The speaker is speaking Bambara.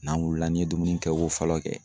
N'an wulila n'i ye dumuni kɛ ko fɔlɔ kɛ